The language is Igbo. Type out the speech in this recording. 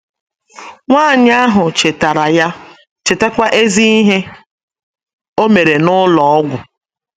Nwanyị ahụ chetara ya, chetakwa ezi ihe o mere n’ụlọ ọgwụ.